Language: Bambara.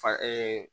Fa